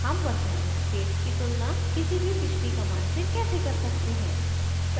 how वर्तमान state की तुलना किसी भी पिछली कमांड से कैसे कर सकते हैं